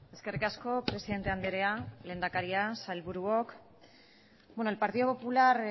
eskerrik asko presidente andrea lehendakaria sailburuok el partido popular